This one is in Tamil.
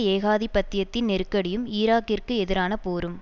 ஏகாதிபத்தியத்தின் நெருக்கடியும் ஈராக்கிற்கு எதிரான போரும்